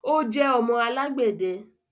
o jẹ ọmọ alagbẹdẹ.